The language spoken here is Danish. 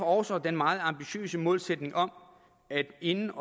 også den meget ambitiøse målsætning om at inden